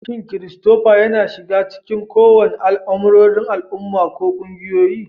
Shin Christopher yana shiga cikin kowane al'amuran al'umma ko ƙungiyoyi?